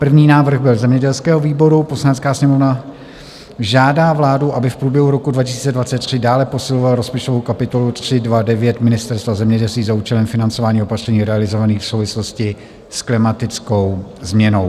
První návrh byl zemědělského výboru: "Poslanecká sněmovna žádá vládu, aby v průběhu roku 2023 dále posilovala rozpočtovou kapitolu 329 Ministerstva zemědělství za účelem financování opatření realizovaných v souvislosti s klimatickou změnou."